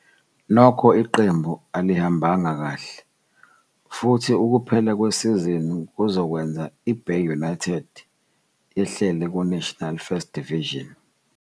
Nokho iqembu alihambanga kahle, futhi ukuphela kwesizini kuzokwenza iBay United yehlele kuNational First Division.